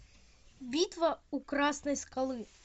битва у красной скалы